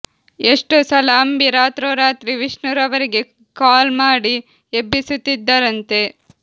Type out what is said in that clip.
ಎಷ್ಟೋ ಸಲ ಅಂಬಿ ರಾತ್ರೋ ರಾತ್ರಿ ವಿಷ್ಣು ರವರಿಗೆ ಗೆ ಕಾಲ್ ಮಾಡಿ ಎಬ್ಬಿಸುತ್ತಿದ್ದರಂತೆ